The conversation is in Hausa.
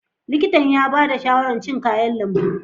Likitan ya ba da shawarar cin kayan lambu.